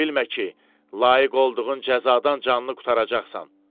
Elə bilmə ki, layiq olduğun cəzadan canını qurtaracaqsan.